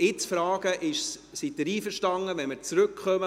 Ich frage jetzt: Sind Sie damit einverstanden, darauf zurückzukommen?